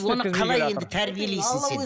оны қалай енді тәрбиелейсің сен